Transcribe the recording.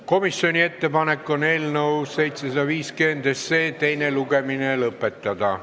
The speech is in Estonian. Komisjoni ettepanek on eelnõu 750 teine lugemine lõpetada.